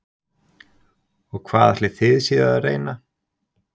Og hvað ætlið þið séuð að reyna?